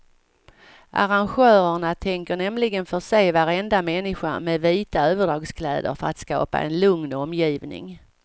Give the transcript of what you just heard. Arrangörerna tänker nämligen förse varenda människa med vita överdragskläder för att skapa en lugn omgivning.